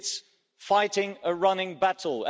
it's fighting a running battle.